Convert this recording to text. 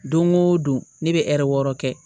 Don o don ne bɛ wɔɔrɔ kɛ